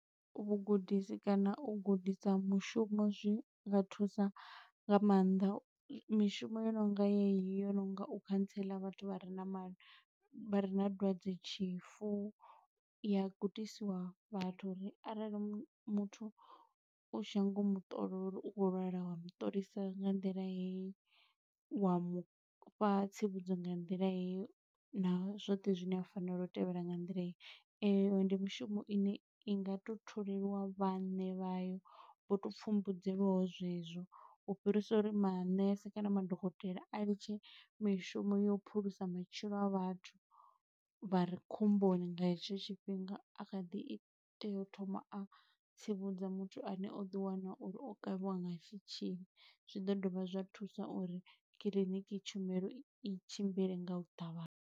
Vhugudisi kana u gudisa mushumo zwi nga thusa nga maanḓa. Mishumo yo nonga yeneyi yo no nga u khantsela vhathu vha re na ma, vha re na dwadze-tshifu, i ya gudisiwa vhathu uri arali muthu, u tshi nyago u muṱola uri u khou lwala, u wa mutolisa nga nḓila heyi. Wa mu fha tsivhudzo nga nḓila heyi, na zwoṱhe zwine a fanela u tevhela nga nḓila heyi. Eyo ndi mushumo ine i nga to tholeliwa vhaṋe vha yo, vho to pfumbudzeliwaho zwe zwo. U fhirisa uri manese kana madokotela a litshe mishumo yo u phulusa matshilo a vhathu, vha re khomboni nga hetsho tshifhinga, a kha ḓi i tea u thoma a tsivhudza muthu ane o ḓi wana uri o kavhiwa nga tshitzhili. Zwi ḓo dovha zwa thusa uri kiḽiniki tshumelo i tshimbile nga u ṱavhanya.